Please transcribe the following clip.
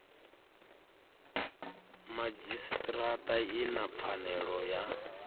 madzhisitirata i na pfanelo ya